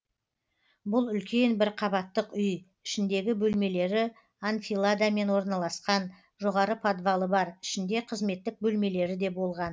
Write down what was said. бұл үлкен бір қабаттық үй ішіндегі бөлмелері анфиладамен орналасқан жоғары подвалы бар ішінде қызметтік бөлмелері де болған